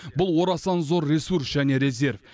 бұл орасан зор ресурс және резерв